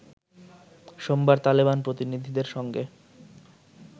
সোমবার তালেবান প্রতিনিধিদের সঙ্গে